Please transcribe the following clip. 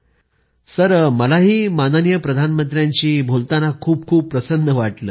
पोन मरियप्पनः मलाही माननीय प्रधानमंत्र्यांशी बोलताना खूप खूप प्रसन्न वाटत आहे